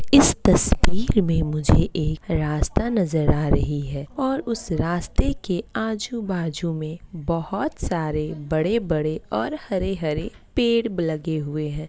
इस तस्वीर में मुझे एक रास्ता नजर आ रही है और उस रास्ते के आजू-बाजू में बहोत सारे बड़े-बड़े और हरे-हरे पेड़ लगे हुए है।